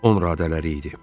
Onradələri idi.